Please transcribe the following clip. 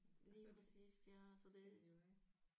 Lige præcist ja så det